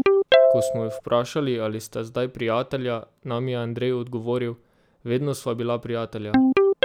Ko smo ju povprašali, ali sta zdaj prijatelja, nam je Andrej odgovoril: "Vedno sva bila prijatelja.